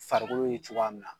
Farikolo ye cogoya min na